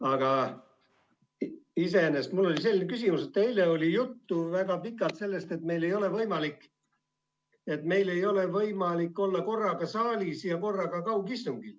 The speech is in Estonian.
Aga mul on selline küsimus, et eile oli väga pikalt juttu sellest, et meil ei ole võimalik olla korraga saalis ja korraga kaugistungil.